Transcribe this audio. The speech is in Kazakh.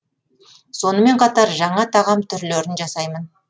сонымен қатар жаңа тағам түрлерін жасаймын